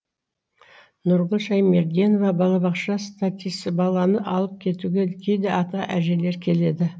нұргүл шәймерденова балабақша статисі баланы алып кетуге кейде ата әжелері келеді